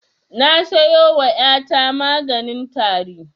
Na siyo wa ƴa ta maganin tari